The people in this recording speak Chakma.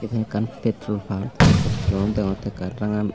eben ekkan pettrolpamp tet kolom deongottey ekkan rangan.